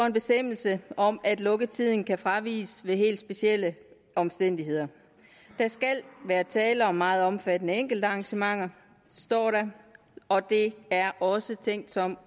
en bestemmelse om at lukketiden kan fraviges ved helt specielle omstændigheder der skal være tale om meget omfattende enkeltarrangementer står der og det er også tænkt som